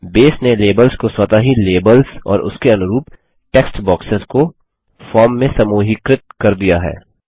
बसे ने लेबल्स को स्वतः ही लेबल्स और उसके उनुरूप टेक्स्टबॉक्सेस को फॉर्म में समूहीकृत कर दिया है